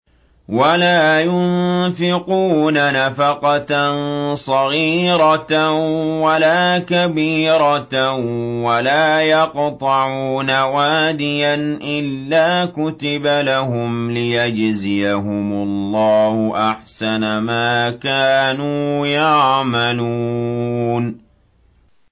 وَلَا يُنفِقُونَ نَفَقَةً صَغِيرَةً وَلَا كَبِيرَةً وَلَا يَقْطَعُونَ وَادِيًا إِلَّا كُتِبَ لَهُمْ لِيَجْزِيَهُمُ اللَّهُ أَحْسَنَ مَا كَانُوا يَعْمَلُونَ